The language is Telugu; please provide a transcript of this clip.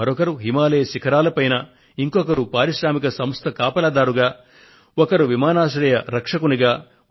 మరొకరు హిమాలయ శిఖరాల మీద ఇంకొకరు పారిశ్రామిక సంస్థ వద్ద కాపలాదారుగా వేరొకరు విమానాశ్రయంలో రక్షకుడిగా